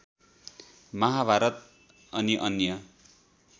महाभारत अनि अन्य